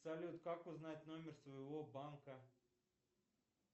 салют как узнать номер своего банка